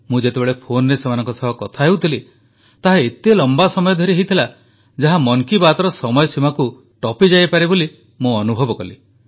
ମୁଁ ଯେତେବେଳେ ଫୋନରେ ସେମାନଙ୍କ ସହ କଥା ହେଉଥିଲି ତାହା ଏତେ ଲମ୍ବା ସମୟ ଧରି ହୋଇଥିଲା ଯାହା ମନ କି ବାତ୍ର ସମୟ ସୀମାକୁ ଟପିଯାଇପାରେ ବୋଲି ମୁଁ ଅନୁଭବ କଲି